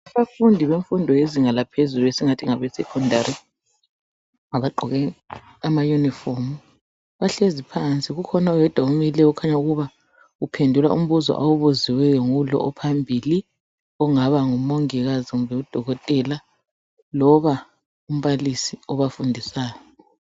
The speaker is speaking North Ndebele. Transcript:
Abafundi benfundo yezinga laphezulu esingathi ngabe secondary. Abagqoke amayunifomu bahlezi phansi ,kukhona oyedwa omileyo . Okukhanya ukuba uphendula umbuzo awubuziweyo ngulo ophambili ongaba ngumongikazi kumbe udokotela loba umbalisi obafundisayo.